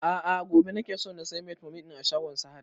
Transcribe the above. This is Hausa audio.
A'a gobe nake so na saya metformin ɗin a shagon sahad